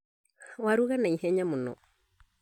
Warũga na ihenya mũno